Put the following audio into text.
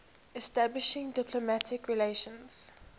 establishing diplomatic relations